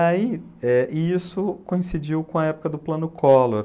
Aí, eh, e isso coincidiu com a época do plano Collor.